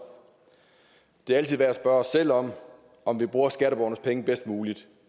det er altid værd at spørge os selv om om vi bruger skatteborgernes penge bedst muligt